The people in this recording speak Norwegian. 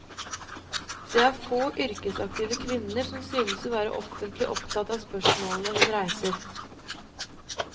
Det er få yrkesaktive kvinner som synes å være offentlig opptatt av spørsmålene hun reiser.